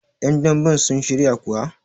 yandamben sun shiryakuwa?